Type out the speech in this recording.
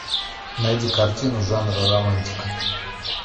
найди картину жанра романтика